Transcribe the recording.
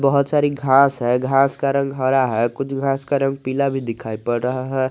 बहुत सारी घांस है का रंग हरा है कुछ घास का रंग पीला भी दिखाई पड़ रहा है।